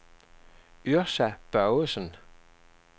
Yrsa Børgesen